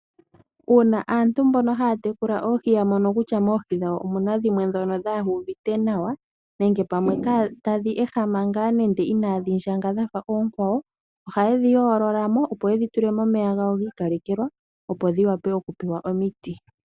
Uuna aantu mbono haya tekula oohi yamono kutya moohi dhawo omuna dhimwe dhono dhaa uvite nawa nenge pamwe ta dhi ehama ngaa inaadhi ndjanga dhafa oonkwawo, oha ye dhi yoololamo opo ye dhi tule momeya dhago giikalekelwa opo dhiwape oku pewa omiti.